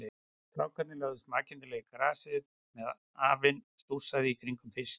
Strákarnir lögðust makindalega í grasið á meðan afinn stússaði í kringum fiskinn.